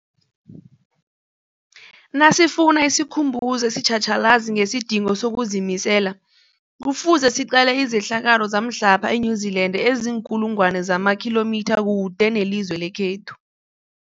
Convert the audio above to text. Nasifuna isikhumbuzo esitjhatjhalazi ngesidingo sokuzimisela, Kufuze siqale izehlakalo zamhlapha e-New Zealand eziinkulu ngwana zamakhilomitha kude nelizwe lekhethu.